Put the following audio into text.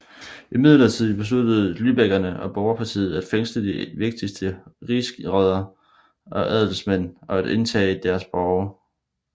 Imidlertid besluttede lybekkerne og Borgerpartiet at fængsle de vigtigste rigsråder og adelsmænd og at indtage deres borge